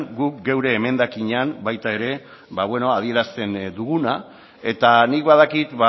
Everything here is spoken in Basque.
guk gure emendakinean baita ere adierazten duguna eta nik badakit